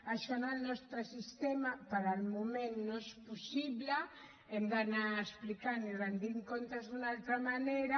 això en el nostre sistema de moment no és possible hem d’anar explicant i retent comptes d’una altra manera